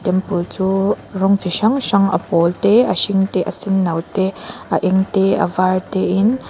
temple chu rawng chi hrang hrang a pawl te a hring te a senno te a eng te a var te in--